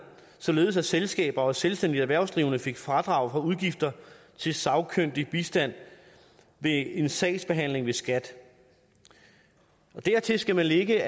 således at selskaber og selvstændigt erhvervsdrivende fik fradrag for udgifter til sagkyndig bistand ved en sagsbehandling ved skat dertil skal man lægge